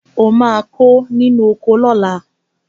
O máa kó inú oko náà